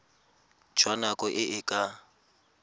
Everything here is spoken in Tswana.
jwa nako e e ka